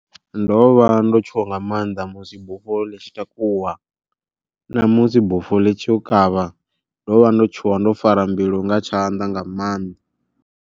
Ndo vha ndo tshuwa nga maanḓa musi bufho ḽi tshi takuwa, namusi bufho ḽi tshi yo kavha ndo vha ndo tshuwa ndo fara mbilu nga tshanḓa nga maanḓa.